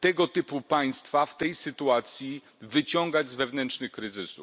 tego typu państwa w tej sytuacji wyciągać z wewnętrznych kryzysów.